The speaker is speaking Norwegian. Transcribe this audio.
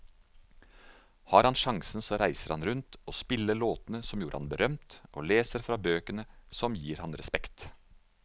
Har han sjansen så reiser han rundt og spiller låtene som gjorde ham berømt, og leser fra bøkene som gir ham respekt.